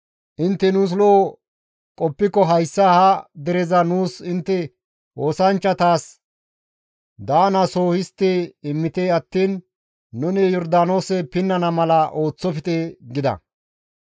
Intte nuus lo7o qoppiko hayssa ha dereza nuus intte oosanchchatas daanaso histti immite attiin nuni Yordaanoose pinnana mala ooththofte» gida.